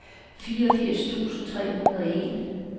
fireogfirs tusind tre hundrede og en